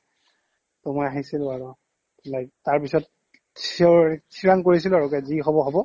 ত' মই আহিছিলো আৰু like তাৰপিছত sure ঠিৰাং কৰিছিলো আৰু কি যি হ'ব হ'ব